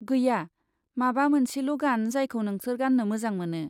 गैया, माबा मोनसेल' गान जायखौ नोंसोर गाननो मोजां मोनो!